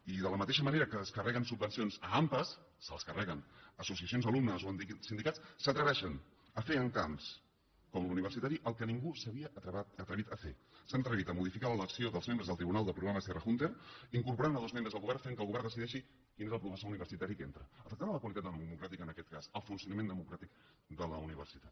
i de la mateixa manera que es carreguen subvencions a ampa se les carreguen a associacions d’alumnes o sindicats s’atreveixen a fer en camps com l’universitari el que ningú s’havia atrevit a fer s’han atrevit a modificar l’elecció dels membres del tribunal del programa serra húnter incorporant hi dos membres del govern i han fet que el govern decideixi quin és el professor universitari que hi entra i afecten la qualitat democràtica en aquest cas el funcio nament democràtic de la universitat